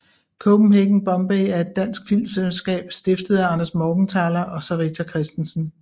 Copenhagen Bombay er et dansk filmselskab stiftet af Anders Morgenthaler og Sarita Christensen